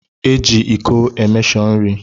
Eji ịko emeshọ nri